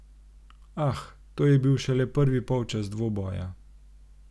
Ah, to je bil šele prvi polčas dvoboja.